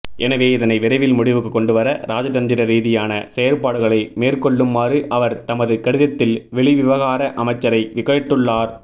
எனவே இதனை விரைவில் முடிவுக்கு கொண்டுவர ராஜதந்திர ரீதியான செயற்பாடுகளை மேற்கொள்ளுமாறு அவர் தமது கடிதத்தில் வெளிவிவகார அமைச்சரை கேட்டுள்ளார்